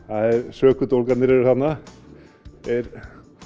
sökudólgarnir eru þarna þeir